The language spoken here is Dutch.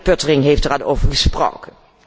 Collega Pöttering heeft er al over gesproken.